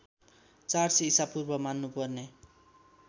४०० ईशापूर्व मान्नुपर्ने